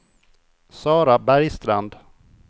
Sara Bergstrand